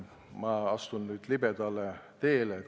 Ma astun nüüd libedale teele.